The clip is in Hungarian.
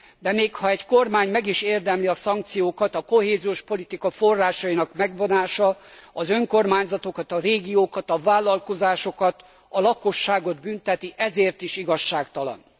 De még ha egy kormány meg is érdemli a szankciókat, a kohéziós politika forrásainak megvonása az önkormányzatokat, a régiókat, a vállalkozásokat, a lakosságot bünteti, ezért is igazságtalan.